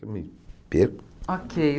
Eu me perco. Ok